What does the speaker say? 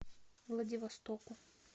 владивостоку